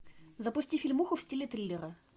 запусти фильмуху в стиле триллера